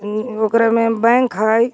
उम ओकरा में बैंक है.